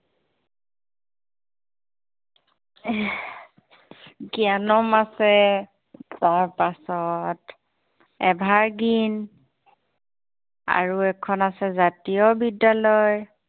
এহ জ্ঞানম আছে ever green আৰু এখন আছে জাতীয় বিদ্য়ালয়